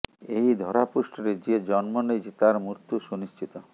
ଏହି ଧରାପୃଷ୍ଠରେ ଯିଏ ଜନ୍ମ ନେଇଛି ତାର ମୃତ୍ୟୁ ସୁନିଶ୍ଚିତ